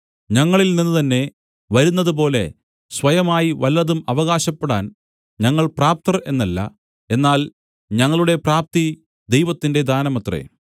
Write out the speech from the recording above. ഞങ്ങളിൽനിന്ന് തന്നെ വരുന്നതുപോലെ സ്വയമായി വല്ലതും അവകാശപ്പെടാൻ ഞങ്ങൾ പ്രാപ്തർ എന്നല്ല എന്നാൽ ഞങ്ങളുടെ പ്രാപ്തി ദൈവത്തിന്റെ ദാനമത്രേ